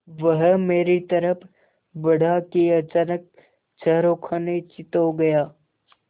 वह मेरी तरफ़ बढ़ा कि अचानक चारों खाने चित्त हो गया